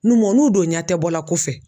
N'u n'u donna tɛ bɔla kɔfɛ